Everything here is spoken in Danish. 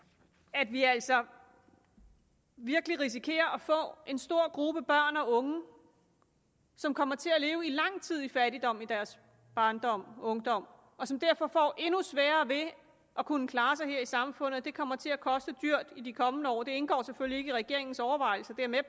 at vi altså virkelig risikerer at få en stor gruppe børn og unge som kommer til at leve lang tid i fattigdom i deres barndom og ungdom og som derfor får endnu sværere ved at kunne klare sig her i samfundet det kommer til at koste dyrt i de kommende år det indgår selvfølgelig ikke i regeringens overvejelser det er jeg